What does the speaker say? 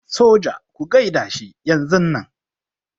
Soja ku gaida shi yanzunnan.